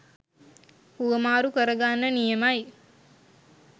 හුවමාරු කරගන්න නියමයි.